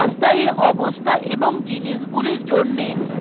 অস্থায়ী অবস্থা এবং জিনিস গুলির জন্যে